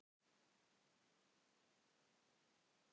Þannig hófust kynni þessara tvennra hjóna.